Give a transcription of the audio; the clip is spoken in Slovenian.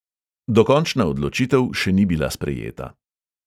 Dokončna odločitev še ni bila sprejeta.